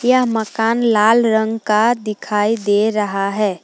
यह मकान लाल रंग का दिखाई दे रहा है।